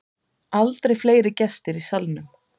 Aldrei fleiri gestir í Salnum